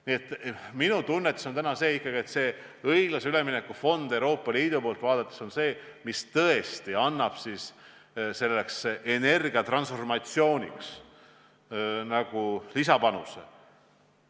Nii et minu tunnetus on täna ikkagi selline, et õiglase ülemineku fond Euroopa Liidu poolt vaadatuna on tõesti see, mis annab selleks energiatransformatsiooniks lisapanuse.